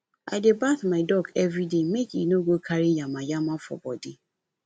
i dey bath my dog every day make e no carry yamayama for bodi